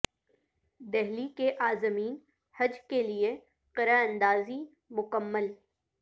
دہلی کے عازمین حج کے لئے قرعہ اندازی مکمل